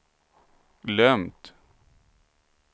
glömt